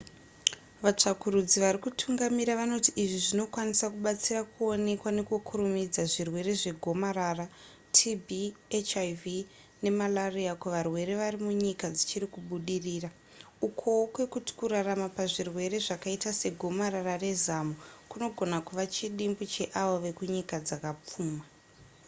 vatsvakurudzi vari kutungamira vanoti izvi zvinokwanisa kubatsira kuonekwa nekukurumidza zvirwere zvegomarara tb hiv nemalaria kuvarwere varimunyika dzichiri kubudirira ukowo kwekuti kurarama pazvirwere zvakaita segomarara rezamu kunogona kuva chidimbu cheavo vekunyika dzakapfuma